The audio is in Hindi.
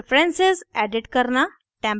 प्रेफरेन्सेस preferences edit करना